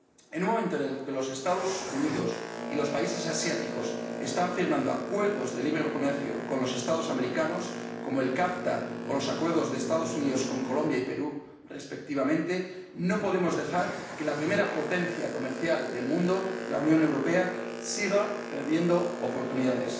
En un momento en el que los Estados Unidos y los países asiáticos están firmando acuerdos de libre comercio con los Estados americanos, como el CAFTA o los acuerdos de los Estados Unidos con Colombia y Perú respectivamente, no podemos dejar que la primera potencia comercial del mundo, la Unión Europea, siga perdiendo oportunidades.